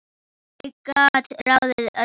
Ég gat ráðið öllu.